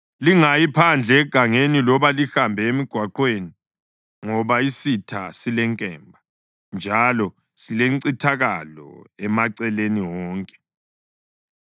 Lingayi phandle egangeni, loba lihambe emigwaqweni, ngoba isitha silenkemba, njalo silencithakalo emaceleni wonke.